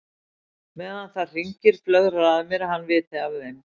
Meðan það hringir flögrar að mér að hann viti af þeim.